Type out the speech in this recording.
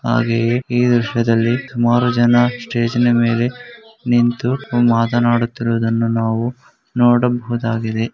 ಹಾಗೆಯೆ ಈ ದೃಶ್ಯದಲ್ಲಿ ಸುಮಾರು ಜನ ಸ್ಟೇಜಿನ ಮೇಲೆ ನಿಂತು ಕುಂ ಮಾತನಾಡುತ್ತಿರುವುದನ್ನುನಾವು ನೋಡಬಹುದಾಗಿದೆ .